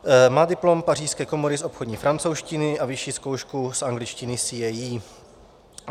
Má diplom pařížské komory z obchodní francouzštiny a vyšší zkoušku z angličtiny CAE.